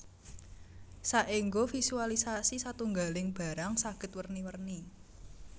Saéngga visualisasi satunggaling barang saged werni werni